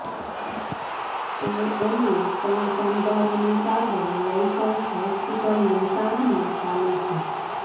તો અન્ય ત્રણ કામદારોની સારવાર લાયન્સ હોસ્પિટલ મહેસાણામાં ચાલુ છે